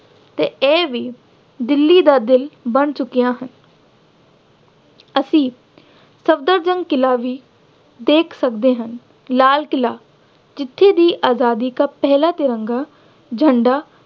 ਅਤੇ ਇਹ ਵੀ ਦਿੱਲੀ ਦਾ ਦਿਲ ਬਣ ਚੁੱਕਿਆ ਹੈ। ਅਸੀਂ ਸਫਦਰਜ਼ੰਗ ਕਿਲਾ ਵੀ ਦੇਖ ਸਕਦੇ ਹਾਂ। ਲਾਲ ਕਿਲਾ ਜਿੱਥੇ ਦੀ ਆਜ਼ਾਦੀ ਦਾ ਪਹਿਲਾ ਤਿਰੰਗਾ ਝੰਡਾ